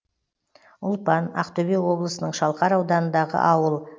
ұлпан ақтөбе облысының шалқар ауданындағы ауыл